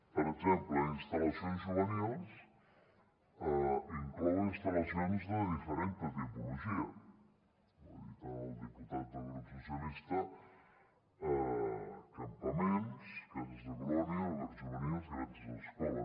per exemple instal·lacions juvenils inclou instal·lacions de diferent tipologia ho ha dit el diputat del grup socialistes campaments cases de colònies albergs juvenils i granges escola